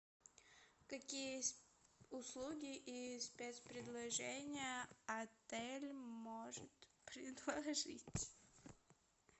какие услуги и спецпредложения отель может предложить